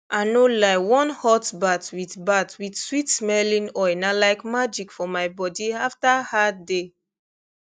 ah no lie one hot bath with bath with sweetsmelling oil na like magic for my body after hard day